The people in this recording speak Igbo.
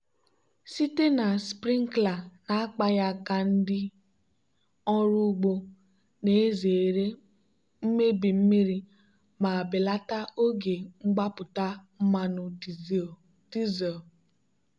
site na sprinkler na-akpaghị aka ndị ọrụ ugbo na-ezere imebi mmiri ma belata oge mgbapụta mmanụ dizel.